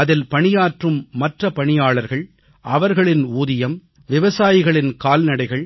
அதில் பணியாற்றும் மற்ற பணியாளர்கள் அவர்களின் ஊதியம் விவசாயிகளின் கால்நடைகள்